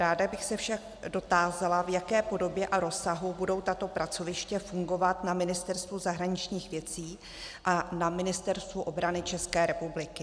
Ráda bych se však dotázala, v jaké podobě a rozsahu budou tato pracoviště fungovat na Ministerstvu zahraničních věcí a na Ministerstvu obrany České republiky.